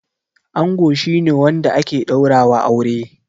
Ango shi ne wanda ake ɗaura wa aure